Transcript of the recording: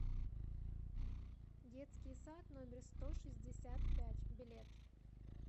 детский сад номер сто шестьдесят пять билет